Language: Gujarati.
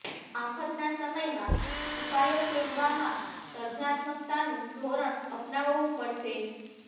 આફ્તના સમયમાં ઉપાયો શોધવામાં સર્જનાત્મકતાનું ધોરણ અપનાવવું પડશે